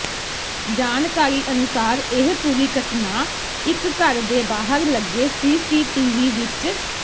ਜਾਣਕਾਰੀ ਅਨੁਸਾਰ ਇਹ ਪੂਰੀ ਘ ਟ ਨਾ ਇੱਕ ਘਰ ਦੇ ਬਾਹਰ ਲੱਗੇ ਸੀਸੀਟੀਵੀ ਵਿੱਚ